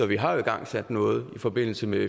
vi har jo igangsat noget i forbindelse med